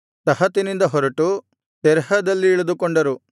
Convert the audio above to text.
ತಹತಿನಿಂದ ಹೊರಟು ತೆರಹದಲ್ಲಿ ಇಳಿದುಕೊಂಡರು